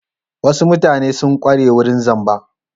Wasu mutanen sun ƙware wurin zamba.